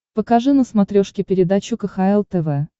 покажи на смотрешке передачу кхл тв